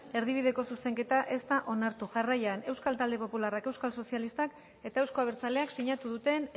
erdibideko zuzenketa ez da onartu jarraian euskal talde popularrak euskal sozialistak eta euzko abertzaleak sinatu duten